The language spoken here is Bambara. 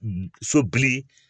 So bili